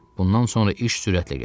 Bundan sonra iş sürətlə getdi.